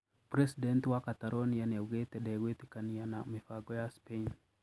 Presidenti wa Catalonia nĩaugĩte ndĩgũetĩkania na mĩbañgo ya Spain